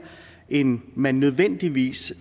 end man nødvendigvis